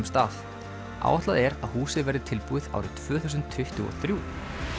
stað áætlað er að húsið verði tilbúið árið tvö þúsund tuttugu og þrjú